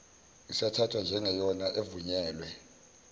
isathathwa njengeyona evunyelwe